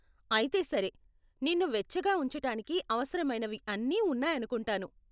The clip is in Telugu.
అయితే సరే, నిన్ను వెచ్చగా ఉంచటానికి అవసరమైనవి అన్నీ ఉన్నాయనుకుంటాను.